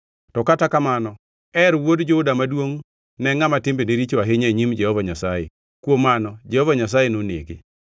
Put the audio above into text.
To kata kamano, Er wuod Juda maduongʼ ne ngʼama timbene richo ahinya e nyim Jehova Nyasaye; kuom mano Jehova Nyasaye nonege.